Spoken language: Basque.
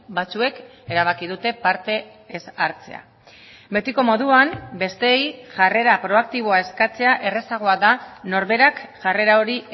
batzuek erabaki dute parte ez hartzea betiko moduan besteei jarrera proaktiboa eskatzea errazagoa da norberak jarrera hori